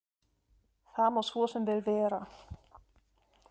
Það má svo sem vel vera.